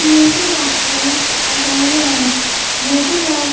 metre box की तस्वीर है मीटर बोक--